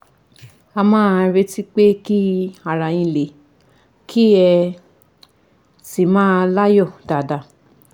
ẹ máa retí pé kí ara yín le, kí ẹ sì máa láyọ̀ dáadáa